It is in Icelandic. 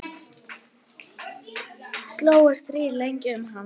Slógust þrír lengi um hann.